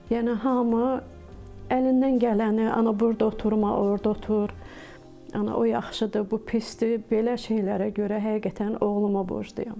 Yəni hamı əlindən gələni, ana burda oturma, orda otur, ana o yaxşıdır, bu pisdir, belə şeylərə görə həqiqətən oğluma borcluyam.